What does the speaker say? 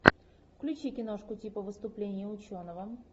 включи киношку типа выступление ученого